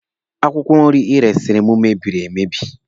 Akwụkwọ nri Ị resiri m mebiri emebi.